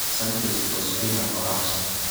Sanchez ,ospina o Ramsey.